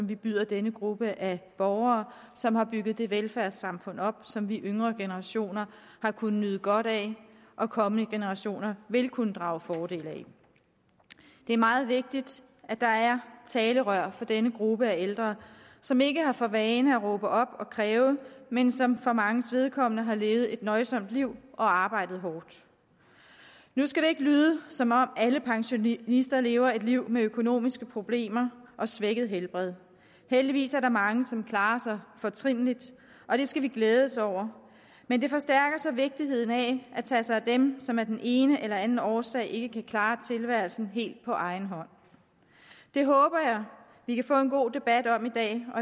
vi byder denne gruppe af borgere som har bygget det velfærdssamfund op som vi yngre generationer har kunnet nyde godt af og kommende generationer vil kunne drage fordel af det er meget vigtigt at der er talerør for denne gruppe af ældre som ikke har for vane at råbe op og kræve men som for manges vedkommende har levet et nøjsomt liv og arbejdet hårdt nu skal det ikke lyde som om alle pensionister lever et liv med økonomiske problemer og svækket helbred heldigvis er der mange som klarer sig fortrinligt og det skal vi glæde os over men det forstærker så vigtigheden af at tage sig af dem som af den ene eller anden årsag ikke kan klare tilværelsen helt på egen hånd det håber jeg vi kan få en god debat om i dag og